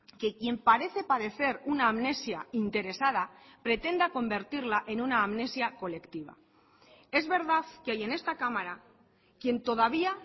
que quien parece padecer una amnesia interesada pretenda convertirla en una amnesia colectiva es verdad que hay en esta cámara quien todavía